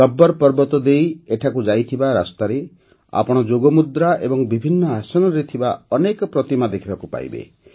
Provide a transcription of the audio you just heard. ଗବ୍ବର ପର୍ବତ ଦେଇ ଏଠାକୁ ଯାଇଥିବା ରାସ୍ତାରେ ଆପଣ ଯୋଗମୁଦ୍ରା ଏବଂ ବିଭିନ୍ନ ଆସନରେ ଥିବା ଅନେକ ପ୍ରତିମା ଦେଖିବାକୁ ପାଇବେ